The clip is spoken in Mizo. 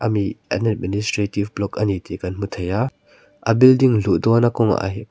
ani administrative block ani tih kan hmu thei a a building luh dawna kawngah hian--